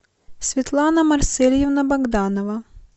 светлана марсельевна богданова